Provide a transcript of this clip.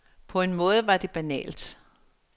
På en måde var det banalt.